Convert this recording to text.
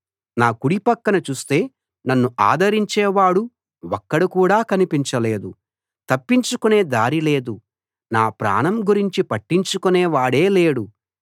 నా కుడి పక్కన చూస్తే నన్ను ఆదరించేవాడు ఒక్కడు కూడా కనిపించలేదు తప్పించుకునే దారి లేదు నాప్రాణం గురించి పట్టించుకునే వాడే లేడు